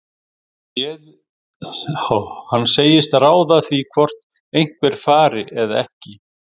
Hann segist ráða því hvort einhver fari eða ekki.